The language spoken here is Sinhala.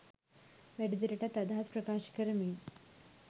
වැඩිදුරටත් අදහස් ප්‍රකාශ කරමින්